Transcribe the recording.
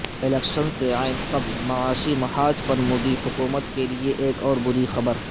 election سے عین قبل معاشی محاذ پر مودی حکومت کے لیے ایک اور بری خبر